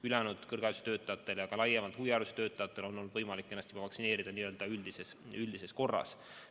Ülejäänud kõrgharidustöötajatel ja ka laiemalt huviharidustöötajatel on olnud võimalik ennast vaktsineerida üldises korras.